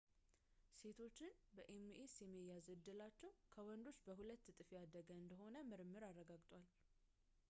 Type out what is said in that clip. ሴቶችን በኤምኤስ የመያዝ ዕድላቸው ከወንዶች በሁለት እጥፍ ያደገ እንደሆነ ምርምር አረጋግጧል